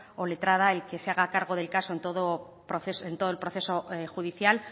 o letrada el que se haga cargo del caso en todo el proceso judicial